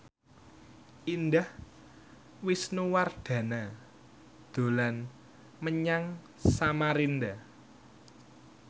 Indah Wisnuwardana dolan menyang Samarinda